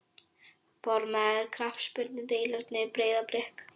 Formaður knattspyrnudeildar Breiðablik?